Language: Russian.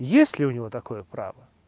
есть ли у него такое право